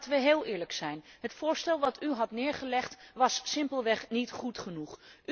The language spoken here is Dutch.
Laten we heel eerlijk zijn het voorstel dat u had voorgelegd, was simpelweg niet goed genoeg.